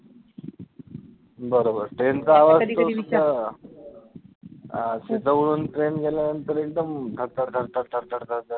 बरोबर train चा आवाज तोच ना अं जवळून train गेल्यानंतर एकदम धड धड धड धड धड धड